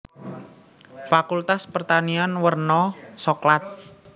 Fakultas Pertanian werna soklat